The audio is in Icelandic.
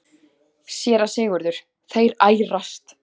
SÉRA SIGURÐUR: Þeir ærast!